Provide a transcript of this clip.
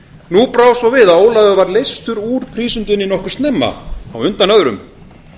nú brá svo við að ólafur var leystur úr prísundinni nokkuð snemma á undan öðrum